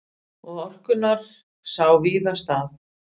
Og orkunnar sá víða stað.